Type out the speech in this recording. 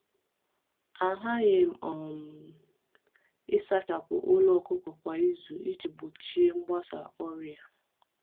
A ghaghị um ịsachapụ ụlọ ọkụkọ kwa izu iji gbochie mgbasa ọrịa.